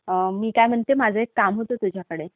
मी काय म्हणते, माझं एक काम होतं तुझ्याकडे.